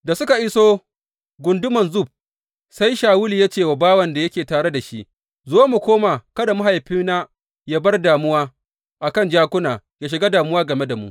Da suka iso gunduman Zuf, sai Shawulu ya ce wa bawan da yake tare da shi, Zo mu koma kada mahaifina yă bar damuwa a kan jakuna, yă shiga damuwa game da mu.